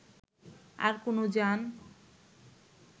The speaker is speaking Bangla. আর কোন যান